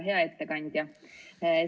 Hea ettekandja!